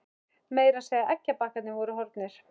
Meira að segja eggjabakkarnir voru horfnir.